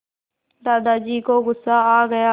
दादाजी को गुस्सा आ गया